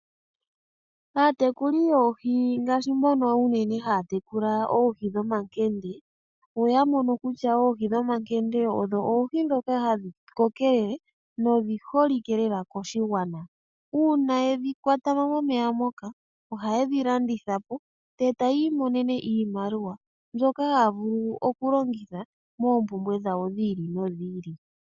Aatekuli yoohi ngaashi mbono unene haya tekula oohi dhomankende , oya mono kutya oohi dhomankende odho oohi ndhoka hadhi koko tadhi endelele, dho odhi holike lela koshigwana. Uuna tayedhi kwatamo momeya moka ohayedhi dhi landitha po , etayi iimonene iiyemo mbyoka haya vulu okulongitha moompumbwe dhawo dhiili nodhili.